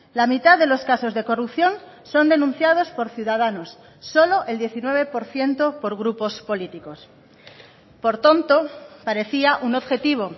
la mitad de los casos de corrupción son denunciados por ciudadanos solo el diecinueve por ciento por grupos políticos por tanto parecía un objetivo